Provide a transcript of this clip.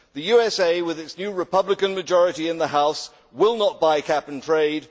The USA, with its new Republican majority in the House, will not buy Cap and Trade.